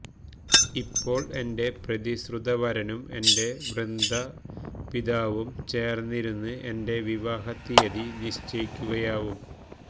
ഇപ്പോൾ എന്റെ പ്രതിശ്രുതവരനും എന്റെ വൃദ്ധപിതാവും ചേർന്നിരുന്ന് എന്റെ വിവാഹത്തീയതി നിശ്ചയിക്കുകയാവും